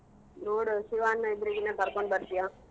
ನೋಡು ಶಿವಣ್ಣ ಇದ್ರೆಗಿನ ಕರ್ಕೊಂಡ್ಬರ್ತಿಯ?